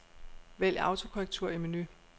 Vælg autokorrektur i menu.